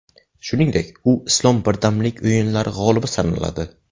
Shuningdek, u Islom birdamlik o‘yinlari g‘olibi sanaladi.